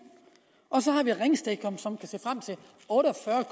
og så har vi ringsted som kan se frem til otte